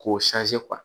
K'o